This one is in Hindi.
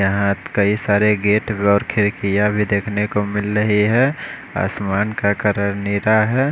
यहाँ कई सारे गेट और खे कीआ भी देखने को मिल रही है आसमान का कलर नीला है।